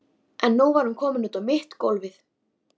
En nú var hún komin út á mitt gólfið.